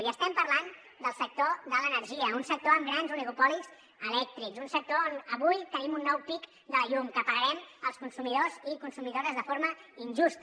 i estem parlant del sector de l’energia un sector amb grans oligopolis elèctrics un sector on avui tenim un nou pic de la llum que pagarem els consumidors i consumidores de forma injusta